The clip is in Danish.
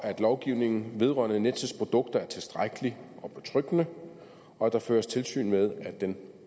lovgivningen vedrørende nets produkter er tilstrækkelig og betryggende og at der føres tilsyn med at den